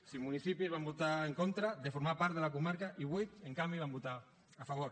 cinc municipis van votar en contra de formar part de la comarca i vuit en canvi hi van votar a favor